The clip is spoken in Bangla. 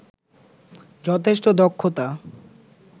যথেষ্ট দক্ষতা